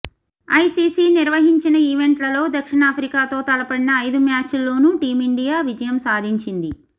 ICC నిర్వహించిన ఈవెంట్లలో దక్షిణా ఫ్రికాతో తలపడిన ఐదు మ్యాచ్ల్లోనూ టీమిండి యా విజయం సాధించింది